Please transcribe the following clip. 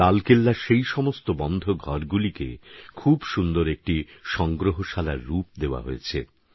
লালকেল্লার সেই সমস্ত বন্ধঘরগুলিকে খুব সুন্দর একটি সংগ্রহশালার রূপ দেওয়া হয়েছে